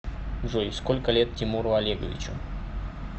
джой сколько лет тимуру олеговичу